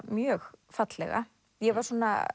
mjög fallega ég var